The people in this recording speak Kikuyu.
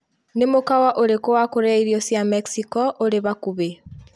Nĩ mukawa urĩkũ wa kũrĩa irio cia Mexico urĩ hakuhĩ